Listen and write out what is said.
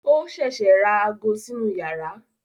Ó ṣẹ̀ṣẹ̀ ra ago sínú yàrá